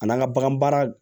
A n'an ka bagan baara